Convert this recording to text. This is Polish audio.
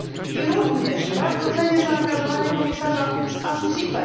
I również bardzo cenię zaangażowanie komisarza Ansipa.